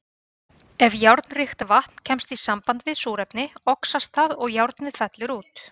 Ef járnríkt vatn kemst í samband við súrefni, oxast það og járnið fellur út.